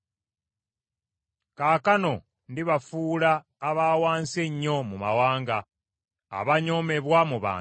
“Kaakano ndibafuula aba wansi ennyo mu mawanga, abanyoomebwa mu bantu.